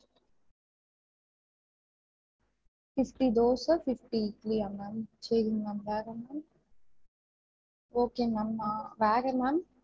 Fifty dosa fifty இட்டிலியா ma'am சேரீங்க ma'am வேற ma'am okay ma'am வேற ma'am